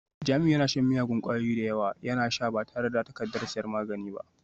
Jamiu yana shan miyagun kwayoyi da yawa, yana sha ba tare da takardar sayan magani ba